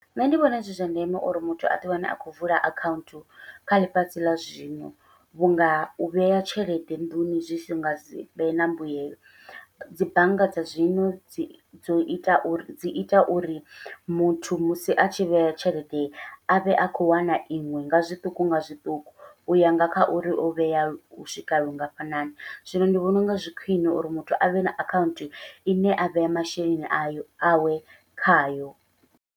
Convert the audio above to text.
Nṋe ndi vhona zwi zwa ndeme uri muthu aḓi wane a khou vula akhaunthu kha ḽifhasi ḽa zwino, vhunga u vhea tshelede nḓuni zwi si nga sivhe na mbuyelo dzi bannga dza zwino dzi dzo ita uri dzi ita uri muthu musi a tshi vhea tshelede avhe a khou wana iṅwe nga zwiṱuku nga zwiṱuku, uya nga kha uri o vhea u swika lungafhani zwino ndi vhona unga zwi khwiṋe uri muthu avhe na akhaunthu ine a vhea masheleni ayo awe khayo.